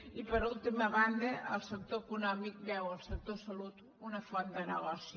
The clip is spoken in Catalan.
i per última banda el sector econòmic veu en el sector de la salut una font de negoci